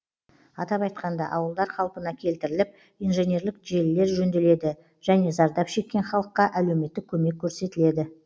атап айтқанда ауылдар қалпына келтіріліп инженерлік желілер жөнделеді және зардап шеккен халыққа әлеуметтік көмек көрсетіледі